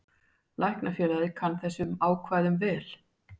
Læknafélagið kann þessum ákvæðum vel.